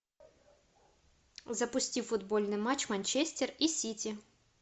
запусти футбольный матч манчестер и сити